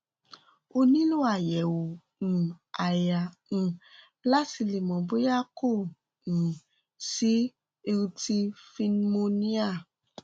o nílò àyẹ̀wò um àyà um láti le mọ̀ bóyá kò um sí lrti pneumonia